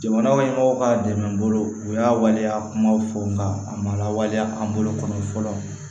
Jamana ɲɛmɔgɔw ka dɛmɛ bolo u y'a waleya kumaw fɔ n ka a ma lawaleya an bolo kɔni fɔlɔ